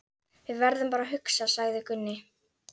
Við verðum bara að hugsa, sagði Gunni.